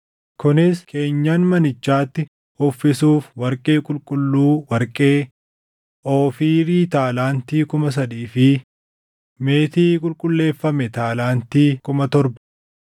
kunis keenyan manichaatti uffisuuf warqee qulqulluu warqee, Oofiirii taalaantii kuma sadii fi meetii qulqulleeffame taalaantii kuma torba,